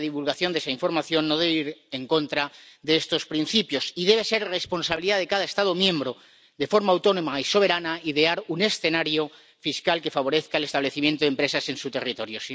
La divulgación de esa información no debe ir en contra de estos principios, y debe ser responsabilidad de cada Estado miembro de forma autónoma y soberana idear un escenario fiscal que favorezca el establecimiento de empresas en su territorio.